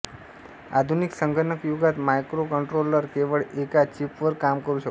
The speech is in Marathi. आधुनिक संगणकयुगात मायक्रोकंट्रोलर केवळ एका चिपवर काम करू शकतो